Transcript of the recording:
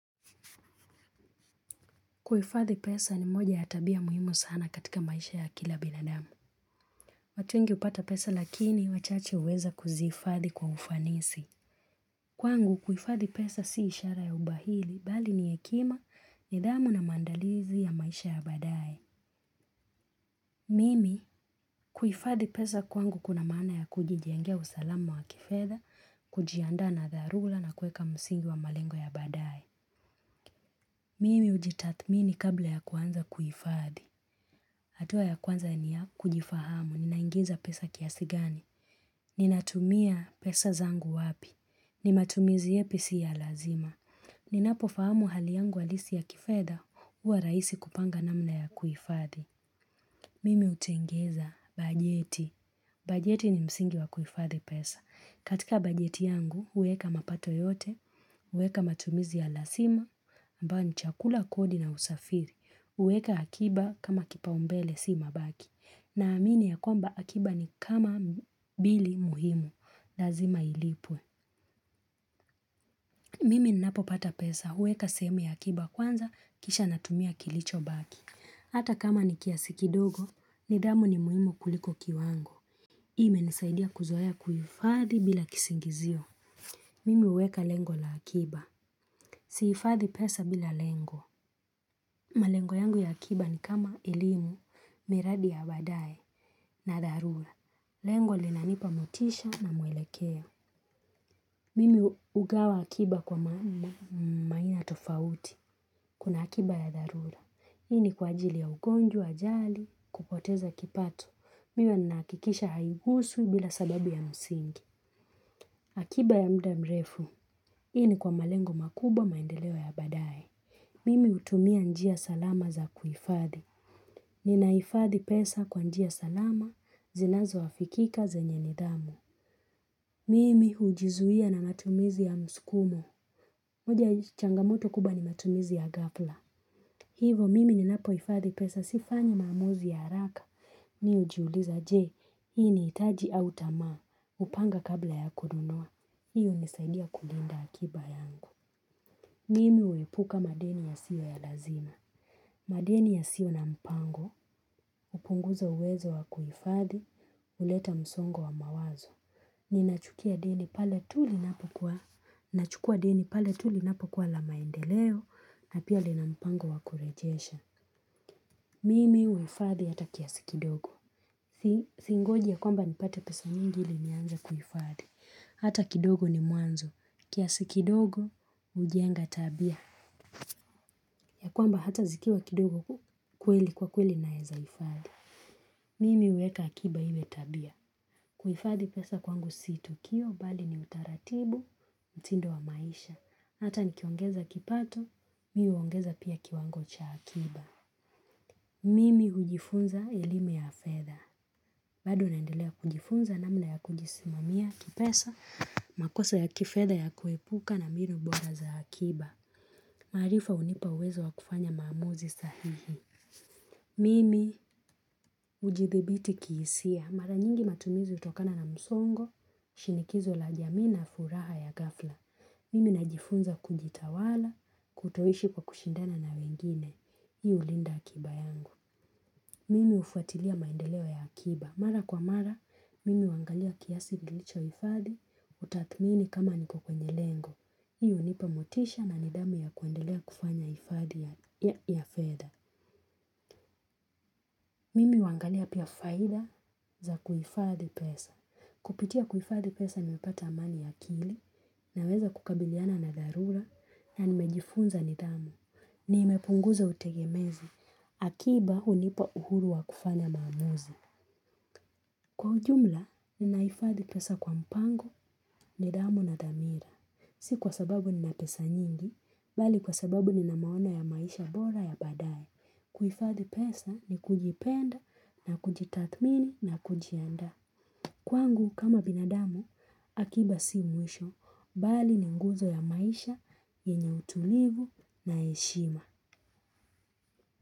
Kuhifadhi pesa ni moja ya tabia muhimu sana katika maisha ya kila binadamu. Watu wengi hupata pesa lakini, wachache huweza kuzifadhi kwa ufanisi. Kwangu, kuifadhi pesa si ishara ya ubahili, bali ni hekima, nidhamu na maandalizi ya maisha ya baadae. Mimi, kuhifadhi pesa kwangu kuna maana ya kujijengia usalamu wa kifedha, kujiandaa na dharura na kueka msingi wa malengo ya baadae. Mimi hujitathmini kabla ya kuanza kuifadhi. Hatua ya kwanza ni ya kujifahamu, ninaingiza pesa kiasi gani, ninatumia pesa zangu wapi, ni matumizi yapi si ya lazima, ninapofahamu hali yangu halisi ya kifedha huwa rahisi kupanga namna ya kuhifadhi. Mimi hutengeza bajeti. Bajeti ni msingi wa kuhifadhi pesa. Katika bajeti yangu, huweka mapato yote, huweka matumizi ya lazima, ambayo ni chakula kodi na usafiri. Huweka akiba kama kipaumbele si mabaki. Naamini ya kwamba akiba ni kama bili muhimu. Lazima ilipwe. Mimi ninapopata pesa, huweka sehemu ya akiba kwanza, kisha natumia kilichobaki. Hata kama ni kiasi kidogo, nidhamu ni muhimu kuliko kiwango. Hii imenisaidia kuzoea kuhifadhi bila kisingizio. Mimi huweka lengo la akiba. Sihifadhi pesa bila lengo. Malengo yangu ya akiba ni kama elimu, miradi ya baadae, na dharura. Lengo linanipa motisha na mwelekeo. Mimi hugawa akiba kwa maina tofauti. Kuna akiba ya dharura. Hii ni kwa ajili ya ugonjwa ajali, kupoteza kipato. Huwa ninahakikisha haihusu bila sababu ya msingi. Akiba ya muda mrefu. Hii ni kwa malengo makubwa maendeleo ya baadae. Mimi hutumia njia salama za kuifadhi. Ninahifadhi pesa kwa njia salama, zinazoafikika zenye nidhamu. Mimi hujizuia na matumizi ya msukumo. Moja changamoto kubwa ni matumizi ya ghafla. Hivo mimi ninapohifadhi pesa, sifanyi maamuzi ya haraka mimi hujiuliza je, hii ni hitaji au tamaa, hupanga kabla ya kununua, hii hunisaidia kulinda akiba yangu. Mimi huepuka madeni yasiyo ya lazima. Madeni yasiyo na mpango, hupunguza uwezo wa kuhifadhi, huleta msongo wa mawazo. Ninachukua deni pale tu linapokua na maendeleo, na pia lina mpango wa kurejesha. Mimi huifadhi hata kiasi kidogo. Singoji ya kwamba nipate pesa nyingi ili nianze kuhifadhi. Hata kidogo ni mwanzo. Kiasi kidogo hujenga tabia. Ya kwamba hata zikiwa kidogo kweli kwa kweli naeza hifadhi. Mimi huweka akiba iwe tabia. Kuhifadhi pesa kwangu si tukio bali ni utaratibu, mtindo wa maisha. Hata nikiongeza kipato, mimi huongeza pia kiwango cha akiba. Mimi hujifunza elimu ya fedha. Bado naendelea kujifunza namna ya kujisimamia kipesa, makosa ya kifedha ya kuepuka na mbinu bora za akiba. Maarifa hunipa uwezo wa kufanya maamuzi sahihi. Mimi hujithibiti kihisia. Mara nyingi matumizi hutokana na msongo, shinikizo la jamii na furaha ya ghafla. Mimi najifunza kujitawala, kutoishi kwa kushindana na wengine. Hii hulinda akiba yangu. Mimi hufuatilia maendeleo ya akiba. Mara kwa mara, mimi huangalia kiasi kilichohifadhi, hutathmini kama niko kwenye lengo. Hii hunipa motisha na nidhamu ya kuendelea kufanya hifadhi ya fedha. Mimi huangalia pia faida za kuifadhi pesa. Kupitia kuifadhi pesa nimepata amani ya akili, naweza kukabiliana na dharura, na nimejifunza nidhamu. Nimepunguza utegemezi, akiba hunipa uhuru wa kufanya maamuzi. Kwa ujumla, ninahifadhi pesa kwa mpango nidhamu na dhamira. Si kwa sababu nina pesa nyingi, bali kwa sababu nina maono ya maisha bora ya baadaye. Kuhifadhi pesa ni kujipenda na kujitathmini na kujiandaa. Kwangu kama binadamu, akiba si mwisho, bali ni nguzo ya maisha, yenye utulivu na heshima.